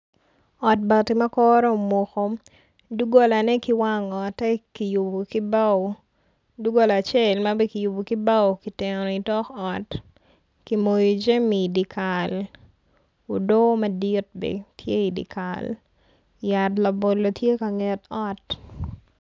Ot bati ma kore omuko dunggolane ki wang otte kiyubu ki bao ma ki yubu ki bao ki teno i tok ot ki moyo jimi iti kal udoo mdit bene ti idikal yat labolo ti ka nget ot